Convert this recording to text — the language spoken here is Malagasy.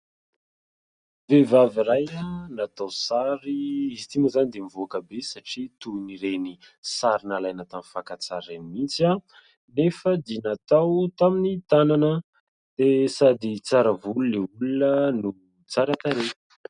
Vehivavy iray natao sary. Izy ity moa izany dia mivoaka be satria toy ireny sary nalaina tamin'ny fakantsary ireny mihitsiny nefa dia natao tamin'ny tanana ; dia sady tsara volo ilay olona no tsara tarehy.